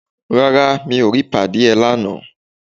Rárá, mi ò rí padí ẹ lánàá.